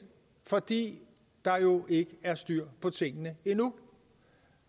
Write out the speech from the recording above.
fordi der jo ikke er styr på tingene endnu